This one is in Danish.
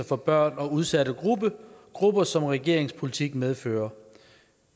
for børn og udsatte grupper som regeringens politik medfører